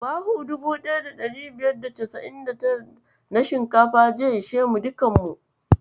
Buhu 1599 na shinkafa zai ishe mu dukkan mu.